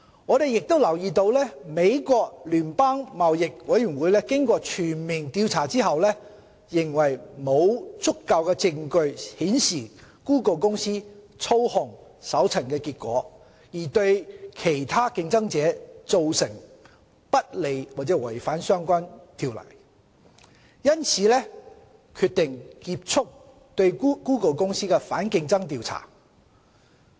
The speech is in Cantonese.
我們亦留意到美國聯邦貿易委員會經過全面調查後，認為沒有足夠證據顯示谷歌公司操控搜尋結果，而對其他競爭者造成不利或違反相關法例，因此決定結束對谷歌公司的反競爭調查。